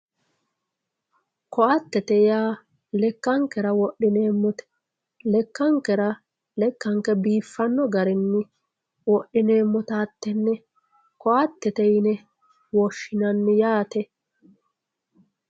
koatete yaa lekkankera wodhineemmote lekkankera lekkanke biiffanno garinni wodhineemmota hattenne koattete yine woshshinanni yaate